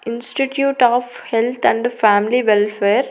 Institute of health and family welfare .